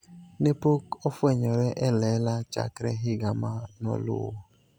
Ne pok ofwenyore e lela chakre higa ma noluwo.